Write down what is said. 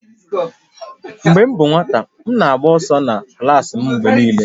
Mgbe m bụ nwata, m na-agba ụzọ na klaasị mgbe niile